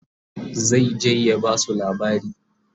zai je ya Basu labari